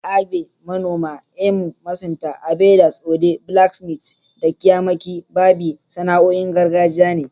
Agbe (Manoma), EMU (masunta), Agbeders), Ode (blacksmiths), da kyamaqi (barbi) sana'o'in gargajiya ne.